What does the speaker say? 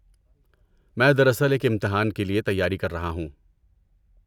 میں دراصل ایک امتحان کے لیے تیاری کر رہا ہوں۔